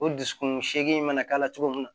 O dusukun segu in na k'a la cogo min na